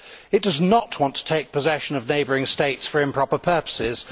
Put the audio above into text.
It does not want to take possession of neighbouring states for improper purposes